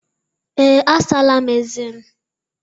Ee, asala m eze m.